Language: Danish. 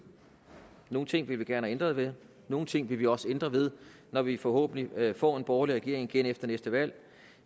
nogle ting ville vi gerne have ændret ved nogle ting vil vi også ændre ved når vi forhåbentlig får en borgerlig regering igen efter næste valg